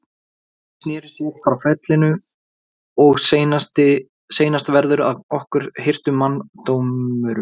Ari sneri sér frá fellinu:-Og seinast verður af okkur hirtur manndómurinn.